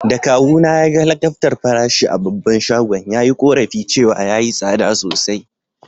Da kawu na ya gan lakabtar farashi a babban shagon, ya yi korafi cewa ya yi sada sosai.